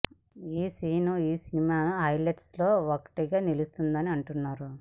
ఈ సీన్ ఈ cinema highlights లో ఒకటిగా నిలుస్తుందని అంటున్నారు